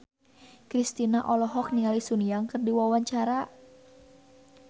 Kristina olohok ningali Sun Yang keur diwawancara